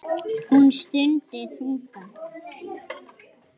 Hún stundi þungan.